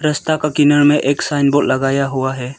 रास्ता का किनारे में एक साइन बोर्ड लगाया हुआ है।